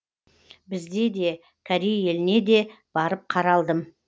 бізде де корей еліне де барып қаралдым